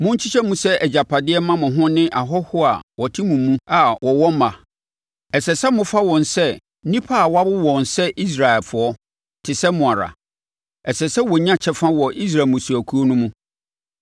Monkyekyɛ mu sɛ agyapadeɛ mma mo ho ne ahɔhoɔ a wɔte mo mu a wɔwɔ mma. Ɛsɛ sɛ mofa wɔn sɛ nnipa a wɔawo wɔn sɛ Israelfoɔ te sɛ mo ara; ɛsɛ sɛ wɔnya kyɛfa wɔ Israel mmusuakuo no mu.